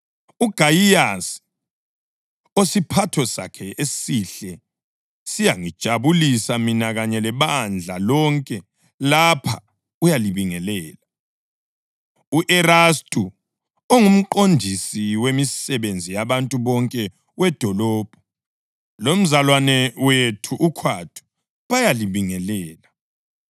UGayiyasi, osiphatho sakhe esihle siyangijabulisa mina kanye lebandla lonke lapha, uyalibingelela. U-Erastu, ongumqondisi wemisebenzi yabantu bonke wedolobho, lomzalwane wethu uKhwathu bayalibingelela. [ 24 Sengathi umusa weNkosi yethu uJesu Khristu ungaba lani lonke. Ameni.] + 16.24 Livesi kayikho kwamanye amaBhayibhili esiLungu.